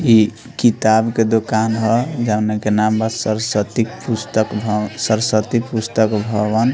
इ किताब क दोकान ह जउना के नाम बा सरस्वती पुस्तक भव सरस्वती पुस्तक भवन।